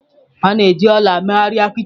A na-eji ọla mee arịa kichin.